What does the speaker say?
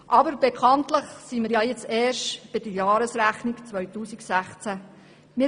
Aber bekanntlich sind wir jetzt erst bei der Jahresrechnung 2016.